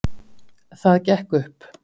Það gekk upp.